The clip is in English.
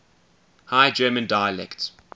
high german dialects